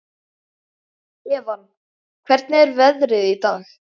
Evan, hvernig er veðrið í dag?